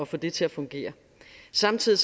få det til at fungere samtidig